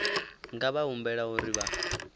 nga vha humbela uri vha